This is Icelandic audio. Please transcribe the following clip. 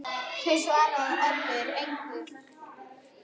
Því svaraði Oddur engu.